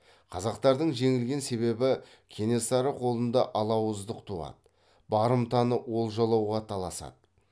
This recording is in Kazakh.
қазақтардың жеңілген себебі кенесары қолында алауыздық туады барымтаны олжалауға таласады